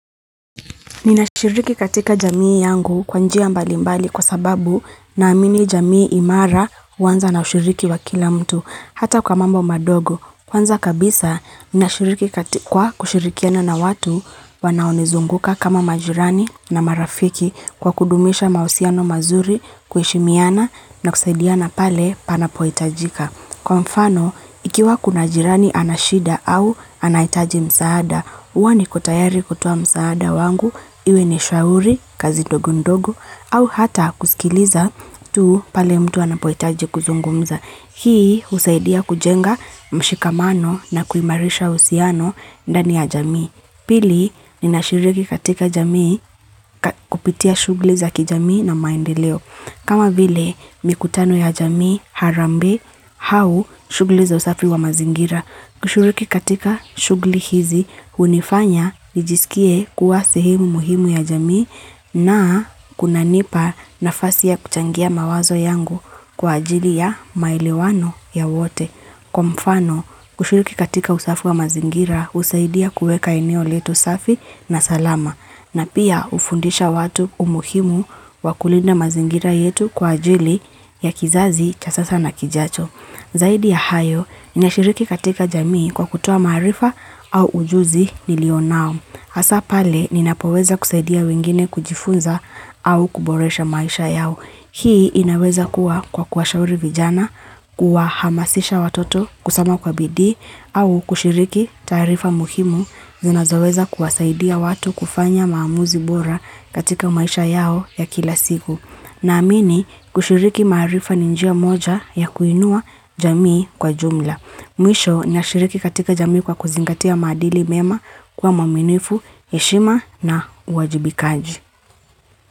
Ninashiriki katika jamii yangu kwa njia mbali mbali kwa sababu naamini jamii imara huanza na ushiriki wa kila mtu. Hata kwa mambo madogo, kwanza kabisa ninashiriki kwa kushirikiana na watu wanaonizunguka kama majirani na marafiki kwa kudumisha mahusiano mazuri kuheshimiana na kusaidiana pale panapo itajika. Kwa mfano, ikiwa kuna jirani ana shida au anaitaji msaada, huwa niko tayari kutoa msaada wangu, iwe ni shauri, kazi ndogo ndogo, au hata kusikiliza tu pale mtu anapoitaji kuzungumza. Hii husaidia kujenga mshikamano na kuimarisha uhusiano ndani ya jamii. Pili ninashiriki katika jamii kupitia shugli za kijamii na maendeleo. Kama vile mikutano ya jamii harambee hau shugli za usafi wa mazingira. Kushiriki katika shugli hizi unifanya nijisikie kuwa sehemu muhimu ya jamii na kunanipa nafasi ya kuchangia mawazo yangu kwa ajili ya maelewano ya wote. Kwa mfano kushiriki katika usafi wa mazingira usaidia kuweka eneo letu safi na salama na pia ufundisha watu umuhimu wa kulinda mazingira yetu kwa ajili ya kizazi cha sasa na kijacho. Zaidi ya hayo, ninashiriki katika jamii kwa kutoa maarifa au ujuzi nilionao. Hasa pale, ninapoweza kusaidia wengine kujifunza au kuboresha maisha yao. Hii inaweza kuwa kwa kuwashauri vijana, kuwahamasisha watoto kusoma kwa bidii, au kushiriki taarifa muhimu zinazoweza kuwasaidia watu kufanya maamuzi bora katika maisha yao ya kila siku. Naamini kushiriki maarifa ni njia moja ya kuinua jamii kwa jumla. Mwisho nashiriki katika jamii kwa kuzingatia maadili mema kuwa mwaminifu, heshima na uwajibikaji.